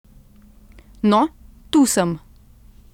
No, tu sem.